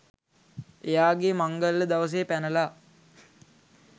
එයාගේ මංගල්‍ය දවසේ පැනලා